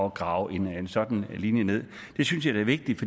at grave en sådan linje ned det synes jeg da er vigtigt